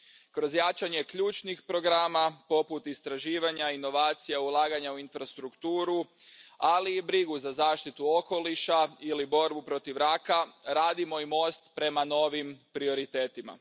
Kroz jačanje ključnih programa poput istraživanja, inovacija, ulaganja u infrastrukturu, ali i brigu za zaštitu okoliša ili borbu protiv raka, radimo i most prema novim prioritetima.